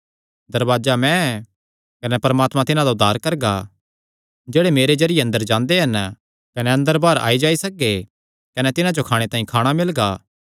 दरवाजा मैं ऐ कने परमात्मा तिन्हां दा उद्धार करगा जेह्ड़े मेरे जरिये अंदर जांदे हन कने अंदर बाहर आई जाई सकगे कने तिन्हां जो खाणे तांई खाणा मिलगा